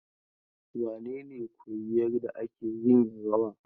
Wane ne koyi yarda ake yin rawan?